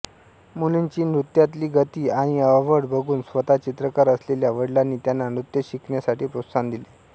मुलीची नृत्यातली गती आणि आवड बघून स्वतः चित्रकार असलेल्या वडिलांनी त्यांना नृत्य शिकण्यासाठी प्रोत्साहन दिले